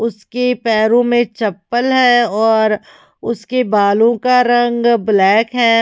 उसके पैरों में चप्पल है और उसके बालो का रंग ब्लैक है।